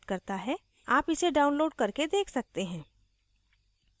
आप इसे download करके देख सकते हैं